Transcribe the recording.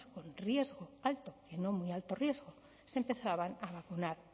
con riesgo alto y no muy alto riesgo se empezaban a vacunar